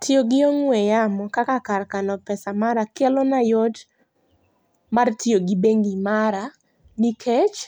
Tiyo gi ong'we yamo kaka kar kano pesa mara kelona yot mar tiyo gi bengi mara nikech